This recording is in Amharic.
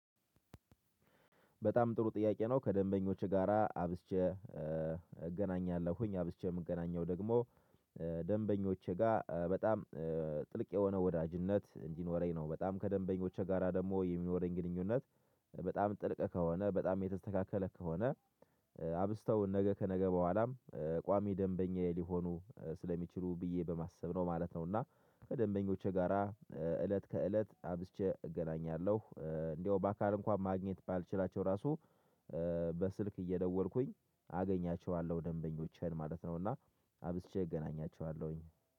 በጣም ጥሩ ጥያቄ ነው ከደንበኞች ጋራ አብዝቼ እገናኛለሁኝ አብዝቼ የምገናኘው ደግሞ ደንበኞቼ ጋር በጣም ጥልቅ የሆነ ወዳጅነት እንዲኖረኝ ነው። በጣም ከደንበኞቹ ጋራ ደግሞ የሚኖረኝ ግንኙነት በጣም ጥልቅ ከሆነ በጣም የተስተካከለ ከሆነ ነገ ከነገ በኋላም ቋሚ ደንበኛ ሊሆኑ ስለሚችሉ ብዬ በማሰብ ነው ማለት ነው። እና ከደንበኞቼ ጋራ እለት ከእለት አብሽቼ እገናኛለሁ እንደው በአካል እንኳን ማግኘት ባልችላቸው ራሱ በስልክ እየደወልኩኝ አገኛቸዋለሁ ደንበኞችን ማለት ነው። እና አብዝቼ እገናኛቸዋለሁኝ